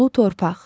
Ulu torpaq.